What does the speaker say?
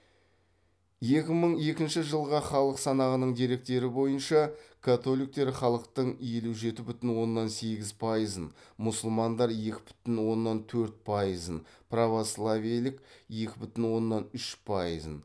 екі мың екінші жылғы халық санағының деректері бойынша католиктер халықтың елу жеті бүтін оннан сегіз пайызын мұсылмандар екі бүтін оннан төрт пайызын православиелік екі бүтін оннан үш пайызын